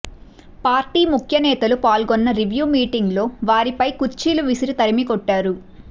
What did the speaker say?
party ముఖ్యనేతలు పాల్గొన్న review meeting లో వారిపై కుర్చీలు విసిరి తరిమికొట్టారు